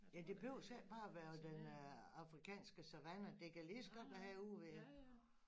Ja det behøves heller ikke bare være på den afrikanske savanne det kan lige så godt være herude ved